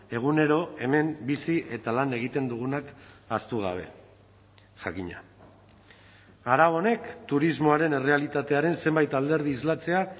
egunero hemen bizi eta lan egiten dugunak ahaztu gabe jakina arau honek turismoaren errealitatearen zenbait alderdi islatzea